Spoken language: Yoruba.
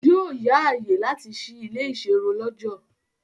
Yóò yá ààyè láti sí ilé -ìserun lọ́jọ̀.